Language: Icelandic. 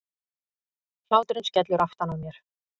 Hláturinn skellur aftan á mér.